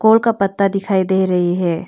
और का पत्ता दिखाई दे रही है।